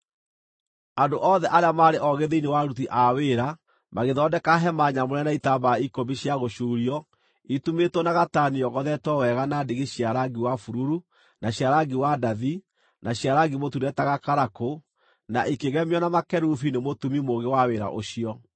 Andũ othe arĩa maarĩ oogĩ thĩinĩ wa aruti a wĩra magĩthondeka hema nyamũre na itambaya ikũmi cia gũcuurio itumĩtwo na gatani yogothetwo wega na ndigi cia rangi wa bururu, na cia rangi wa ndathi, na cia rangi mũtune ta gakarakũ, na ikĩgemio na makerubi nĩ mũtumi mũũgĩ wa wĩra ũcio.